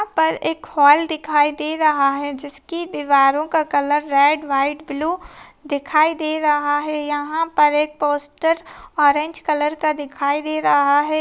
यहाँ पर एक हॉल दिखाई दे रहा है जिसकी दीवारों का कलर रेंड व्हाइट ब्लू दिखाई दे रहा है यहाँ पर एक पोस्टर ऑरेंज कलर का दिखाई दे रहा है।